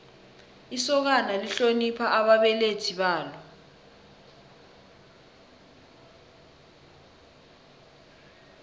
isokana lihlonipha ababelethi balo